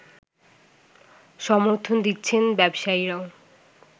সমর্থন দিচ্ছেন ব্যবসায়ীরাও